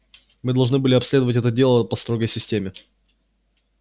мы должны были обследовать это дело по строгой системе